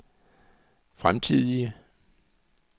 fremtidige